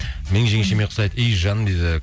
менің жеңшеме ұқсайды ей жаным дейді